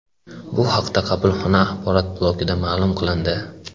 Bu haqda qabulxona axborot blokida ma’lum qilindi .